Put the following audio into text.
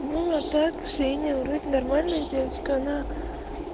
так женя вроде нормальная девочка она